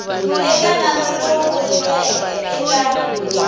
eka nandzu lowu vuriweke eka